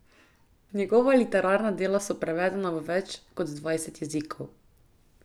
Njegova literarna dela so prevedena v več kot dvajset jezikov.